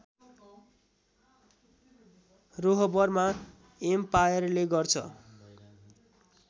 रोहबरमा एम्पाएरले गर्छ